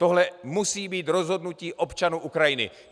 Tohle musí být rozhodnutí občanů Ukrajiny.